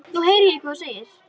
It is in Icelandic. Nú heyri ég hvað þú segir.